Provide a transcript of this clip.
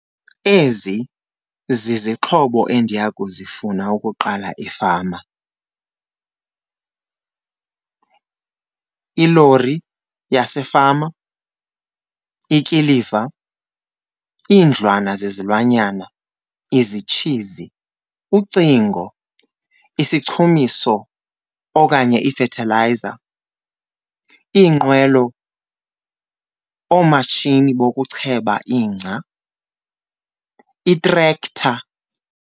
Ezi zizixhobo endiya kuzifuna ukuqala ifama. Ilori yasefama, ikiliva, iindlwana zezilwanyana, izitshizi, ucingo, isichumiso okanye ifethilayiza, iinqwelo, oomatshini bokucheba ingca, itrektha.